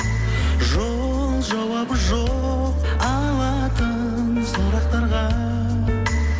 жол жауабы жоқ алатын сұрақтарға